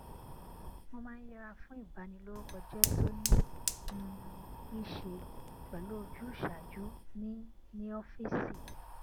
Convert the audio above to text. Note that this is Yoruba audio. mo máa ń yẹra fún ìbanilórúkọjé tó ní um í ṣe pẹlú ojúṣàájú ní ní ófíìsì